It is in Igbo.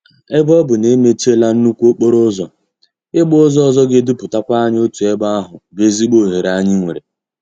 Ebe ọ bụ na-emechiela nnukwu okporo ụzọ, ị gba ụzọ ọzọ ga-eduputakwa anyị otu ebe ahụ bụ ezigbo oghere anyị nwere.